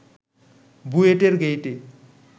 বুয়েটের গেইটে